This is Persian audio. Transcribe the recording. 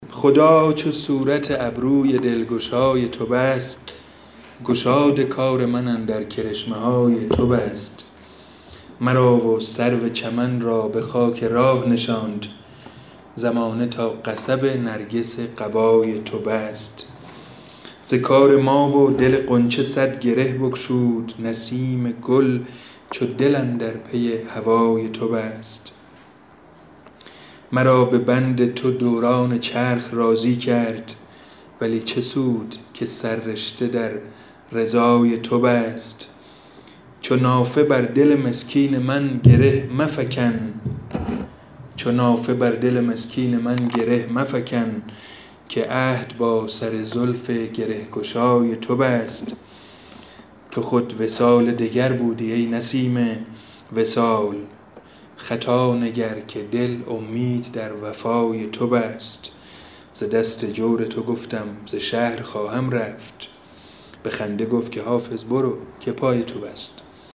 خدا چو صورت ابروی دلگشای تو بست گشاد کار من اندر کرشمه های تو بست مرا و سرو چمن را به خاک راه نشاند زمانه تا قصب نرگس قبای تو بست ز کار ما و دل غنچه صد گره بگشود نسیم گل چو دل اندر پی هوای تو بست مرا به بند تو دوران چرخ راضی کرد ولی چه سود که سررشته در رضای تو بست چو نافه بر دل مسکین من گره مفکن که عهد با سر زلف گره گشای تو بست تو خود وصال دگر بودی ای نسیم وصال خطا نگر که دل امید در وفای تو بست ز دست جور تو گفتم ز شهر خواهم رفت به خنده گفت که حافظ برو که پای تو بست